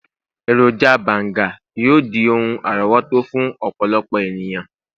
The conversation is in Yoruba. eroja banga yíò di oun àrówòtó fún ọpọlọpọ eniyan.